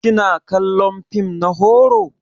Kina kallon fim na horo?